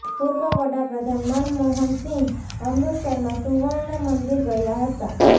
પૂર્વ વડા પ્રધાન મનમોહન સિંહ અમૃતસરમાં સુવર્ણ મંદિર ગયા હતા